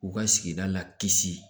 U ka sigida la kisi